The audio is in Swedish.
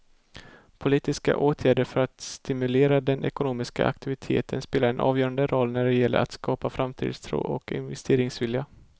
Politiska åtgärder för att stimulera den ekonomiska aktiviteten spelar en avgörande roll när det gäller att skapa framtidstro och investeringsvilja.